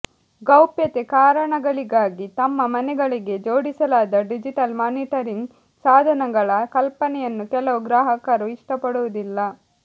ಗೌಪ್ಯತೆ ಕಾರಣಗಳಿಗಾಗಿ ತಮ್ಮ ಮನೆಗಳಿಗೆ ಜೋಡಿಸಲಾದ ಡಿಜಿಟಲ್ ಮಾನಿಟರಿಂಗ್ ಸಾಧನಗಳ ಕಲ್ಪನೆಯನ್ನು ಕೆಲವು ಗ್ರಾಹಕರು ಇಷ್ಟಪಡುವುದಿಲ್ಲ